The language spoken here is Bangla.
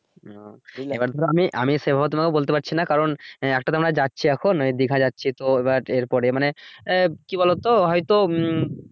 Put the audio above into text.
হম এবার ধরো আমি সেভাবে তোমাকে বলতে পারছি না কারন আহ একটা তোমরা যাচ্ছি এখন দিঘা যাচ্ছি তো এবার এরপরে মানে আহ কি বলো তো হয়তো উম